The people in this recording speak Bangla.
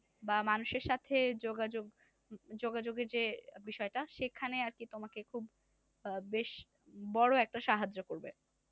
বা মানুষের সাথে যোগাযোগ যোগাযোগের যে বিষয়টা সেখানে আর কি তোমাকে খুব বেশ বড় একটা সাহায্য করবে।